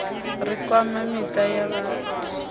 ri kwama miṱa ya vhathi